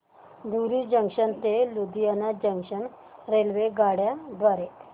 धुरी junction ते Ludhiana junction रेल्वेगाड्यां द्वारे